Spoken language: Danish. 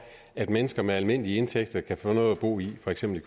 at mennesker med almindelige indtægter kan få noget at bo i for eksempel